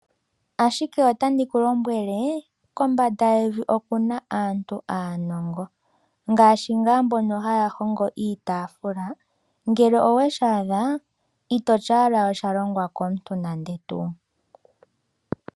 Ashike otandi ku lombwele kombanda yevi oku na aantu aanongo. Ngaashi ngaa mbono haya hongo iitaafula, ngele oweshi adha itoti owala osha longwa komuntu nande tuu.